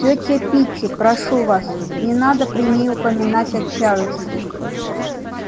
тётя питти прошу вас не надо при ней упоминать о чарлзе